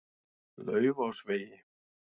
Laufásvegi